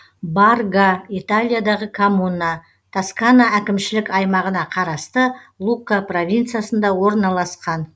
барга италиядағы коммуна тоскана әкімшілік аймағына қарасты лукка провинциясында орналасқан